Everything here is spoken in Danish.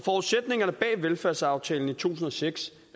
velfærdsaftalen tusind og seks